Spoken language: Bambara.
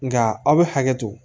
Nga aw be hakɛ to